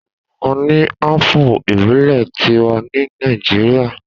A ní ápù ìbílẹ̀ tiwa ní Nàíjíría.